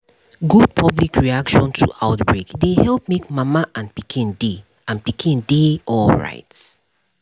good public reaction to outbreak dey help make mama and pikin dey and pikin dey alright